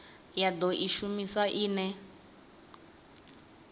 ya do i shumisa ine